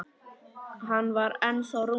Hann var ennþá rúmlega hálfur.